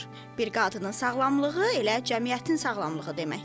Bir qadının sağlamlığı elə cəmiyyətin sağlamlığı deməkdir.